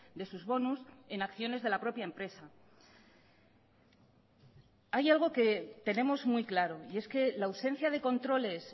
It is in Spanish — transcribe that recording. de sus bonus en acciones de la propia empresa hay algo que tenemos muy claro y es que la ausencia de controles